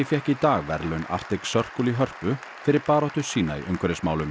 fékk í dag verðlaun Arctic Circle í Hörpu fyrir baráttu sína í umhverfismálum